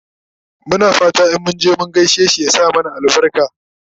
Muna fatan in munje mun gaishe shi ya sa mana albarka